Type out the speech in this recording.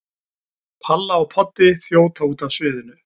Palla og Poddi þjóta út af sviðinu.